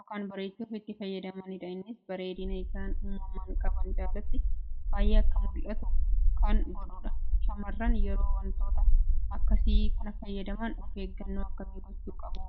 ykn bareechuuf itti fayyadamanidha innis bareedina isaaan uumamaan qaban caalaatti bayee akka mullatu kan godhudha. Shamarran yeroo wantoota akkasii kana fayyadaman of eegganoo akkamii gochuu qabuu?